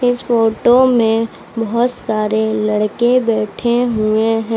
इस फोटो में बहोत सारे लड़के बैठे हुए हैं।